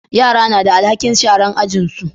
Yara na da alhakin sharan ajin su